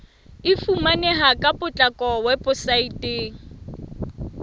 e fumaneha ka potlako weposaeteng